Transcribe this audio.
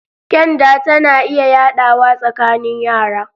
Kyanda tana iya yaɗawa tsakanin yara